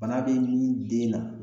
Bana be nin den na